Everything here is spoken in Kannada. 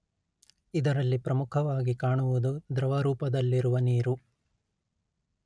ಇದರಲ್ಲಿ ಪ್ರಮುಖವಾಗಿ ಕಾಣುವುದು ದ್ರವ ರೂಪದಲ್ಲಿರುವ ನೀರು